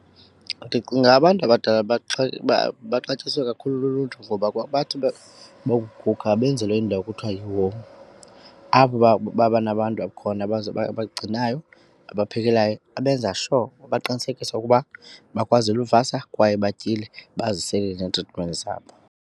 Ndicinga abantu abadala baxatyiswe kakhulu luluntu ngoba bathi bokuguga benzelwe indawo ekuthiwa apho baba nabantu khona abagcinayo ababaphekelayo, abenza sure baqinisekise ukuba bakwazile ukuvasa kwaye betyile bazisele neetritimenti zabo.